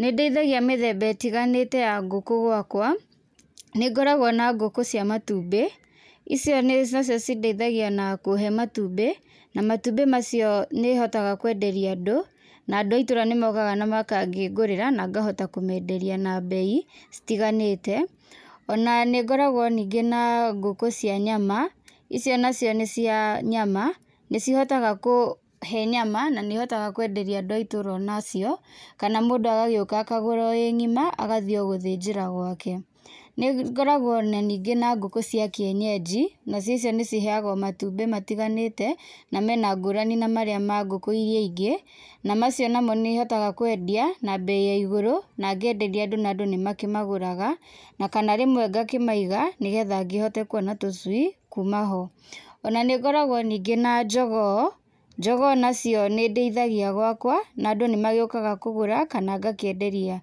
Nĩndĩithagia mĩthemba ĩtiganĩte ya ngũkũ gwakwa, nĩngoragwo na ngũkũ cia matumbĩ, icio nĩcio cindeithagia na kũhe matumbĩ, na matumbĩ macio nĩhotaga kwenderia andũ, na andũ a itũũra nĩmokaga na magakũngũrĩra na ngahota kũmenderia na mbei citiganĩte, ona nĩngoragwo ningĩ na ngũkũ cia nyama, icio nacio nĩ ciaa nyama, nĩcihotaga kũhe nyama na nĩhotaga kwenderia andũ a itũra onacio, kana mũndũ agagĩũka akagũra o ĩ ng'ima agathiĩ o gũthĩnjĩra gwake. Nĩngoragwo na ningĩ na ngũkũ cia kĩenyenji, nacio icio nĩciheaga o matumbĩ matiganĩte na mena ngũrani na marĩa ma ngũkũ irĩa ingĩ, na macio namo nĩhotaga kwendia na mbei ya igũrũ na ngenderia andũ na andũ nĩmakĩmagũraga, na kana rĩmwe ngakĩmaiga nĩgetha ngĩhote kuona tũcui kuma ho. Ona nĩngoragwo ningĩ na njogoo, njogoo nacio nĩndĩithagia gwakwa, na andũ nĩmagĩũkaga kũgũra kana ngakĩenderia